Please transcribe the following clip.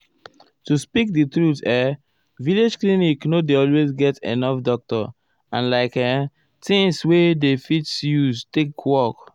to speak di truth[um]village clinic nor dey always get enough doctor and like[um]things wey dem fit use take work.